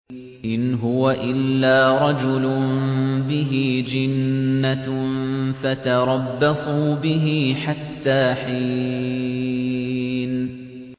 إِنْ هُوَ إِلَّا رَجُلٌ بِهِ جِنَّةٌ فَتَرَبَّصُوا بِهِ حَتَّىٰ حِينٍ